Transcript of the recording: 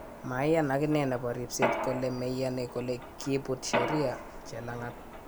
Maiyan akine nepo ripset kole meyani kole kiput sheria chelangat